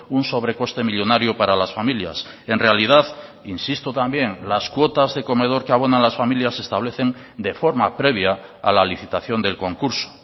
un sobrecoste millónario para las familias en realidad insisto también las cuotas de comedor que abonan las familias se establecen de forma previa a la licitación del concurso